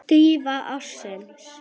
Dýfa ársins?